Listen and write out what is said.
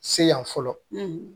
Se yan fɔlɔ